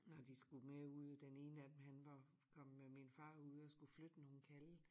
Når de skulle med ud den ene af dem han var kommet med min far ud og skulle flytte nogen kalve